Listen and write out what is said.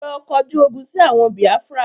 Lọ kọjú ogún sì àwọn Biafra!